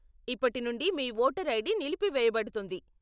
ఇప్పటి నుండి మీ ఓటర్ ఐడి నిలిపివేయబడుతుంది.